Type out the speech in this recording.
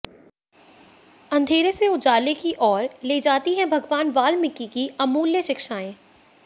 अंधेरे से उजाले की ओर ले जाती हैं भगवान वाल्मीकि की अमूल्य शिक्षाएं